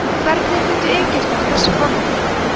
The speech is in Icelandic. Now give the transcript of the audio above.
hvernig fundu egyptar þessa formúlu